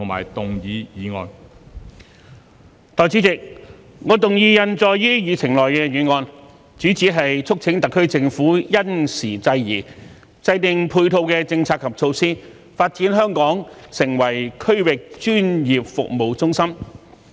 代理主席，我動議印載於議程內的議案，主旨是促請特區政府因時制宜，制訂配套的政策及措施，發展香港成為區域專業服務中心。